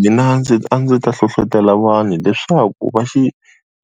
Mina ndzi a ndzi ta hlohletela vanhu leswaku va xi